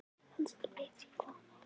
Kannski veit ég hvað hún á við.